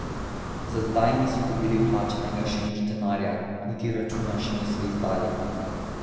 Za zdaj niso dobili plačanega še nič denarja, niti računa še niso izdali.